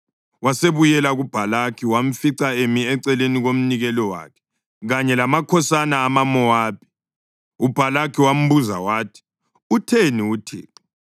Wasebuyela kuBhalaki wamfica emi eceleni komnikelo wakhe, kanye lamakhosana amaMowabi. UBhalaki wambuza wathi, “Utheni uThixo?”